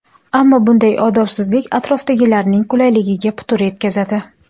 Ammo bunday odobsizlik atrofdagilarning qulayligiga putur yetkazadi.